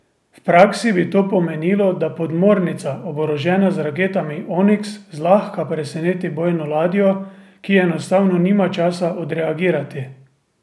V praksi bi to pomenilo, da podmornica, oborožena z raketami Oniks, zlahka preseneti bojno ladjo, ki enostavno nima časa odreagirati.